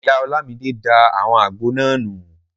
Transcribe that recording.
Ìyá Ọlámidé da àwọn àgbo náà nù